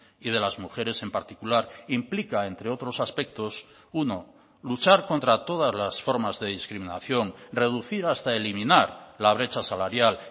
y de las mujeres en particular implica entre otros aspectos uno luchar contra todas las formas de discriminación reducir hasta eliminar la brecha salarial